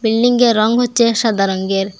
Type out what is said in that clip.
বিল্ডিংয়ের রং হচ্ছে সাদা রঙ্গের।